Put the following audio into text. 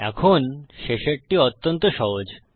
এখন শেষেরটি অত্যন্ত সহজ